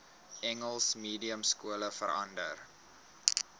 engels mediumskole verander